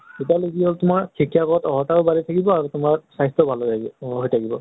তেতিয়া হলে কি হল তোমাৰ শিক্ষা গত অৰ্হতাও বাঢ়ি থাকিব আৰু তোমাৰ স্বাস্থ্য়ও ভালে হৈ থাকিব।